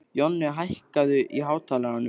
Jonni, hækkaðu í hátalaranum.